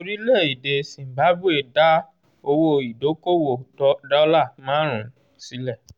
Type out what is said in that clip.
orílẹ̀-èdè zimbabwe dá owó ìdókòwò dólà márùn-ún sílẹ̀